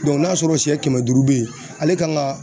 n'a sɔrɔ sɛ kɛmɛ duuru bɛ yen ale kan ka